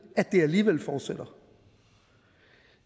at det alligevel fortsætter